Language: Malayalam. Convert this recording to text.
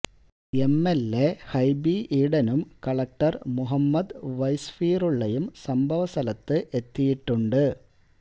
എം എൽ എ ഹൈബി ഈടനും കളക്ടർ മുഹമ്മദ് വൈ സ്ഫീറുള്ളയും സംഭവ സ്ഥലത്ത് എത്തിയിട്ടുണ്ട്